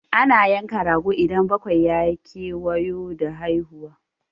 Ana yanka rago idan bakwai ya kewayo da haihuwa.